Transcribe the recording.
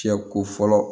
Fiyɛ ko fɔlɔ